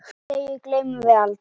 Þessum degi gleymum við ekki.